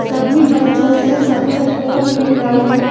सभी बच्चो ने सफेद कोट पहना है।